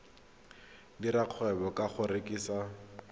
dira kgwebo ka go rekisa